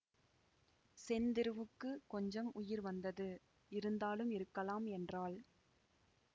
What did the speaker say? செந்திருவுக்குக் கொஞ்சம் உயிர் வந்தது இருந்தாலும் இருக்கலாம் என்றாள்